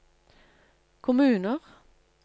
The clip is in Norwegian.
kommuner